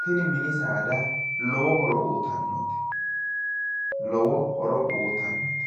tini mini saada lowo horo uytannote, lowo horo uytannote.